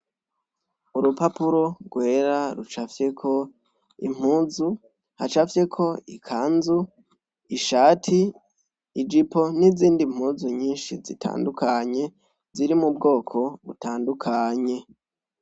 Urupapuro gwera rucafyeko impuzu hacafyeko, ikanzu, ishati, ijipo n' izindi mpuzu nyinshi zitandukanye, ziri mubwoko butandukanye.